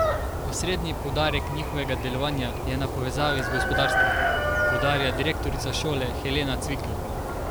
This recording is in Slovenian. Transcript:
Osrednji poudarek njihovega delovanja je na povezavi z gospodarstvom, poudarja direktorica šole Helena Cvikl.